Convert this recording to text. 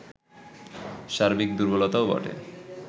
সার্বিক দুর্বলতাও বটে